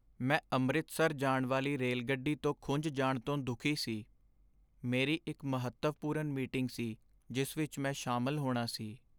ਮੈਂ ਅੰਮ੍ਰਿਤਸਰ ਜਾਣ ਵਾਲੀ ਰੇਲਗੱਡੀ ਤੋਂ ਖੁੰਝ ਜਾਣ ਤੋਂ ਦੁਖੀ ਸੀ, ਮੇਰੀ ਇੱਕ ਮਹੱਤਵਪੂਰਨ ਮੀਟਿੰਗ ਸੀ ਜਿਸ ਵਿੱਚ ਮੈਂ ਸ਼ਾਮਲ ਹੋਣਾ ਸੀ